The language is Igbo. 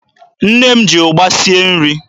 Nne m ji ụgba sie nri.